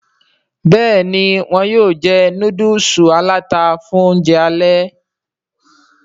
Béèni wón yóò jé nudulu alata fún oúnjẹ alè.